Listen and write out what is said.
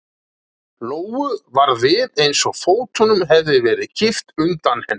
Lóu varð við eins og fótunum hefði verið kippt undan henni.